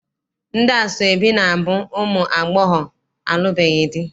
Ndị asọebi na- abụ ụmụ agbọghọ alụbeghị di.